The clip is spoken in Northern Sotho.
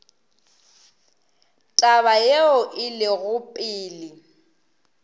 taba yeo e lego pele